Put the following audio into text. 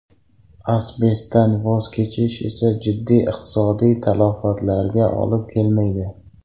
Asbestdan voz kechish esa jiddiy iqtisodiy talafotlarga olib kelmaydi.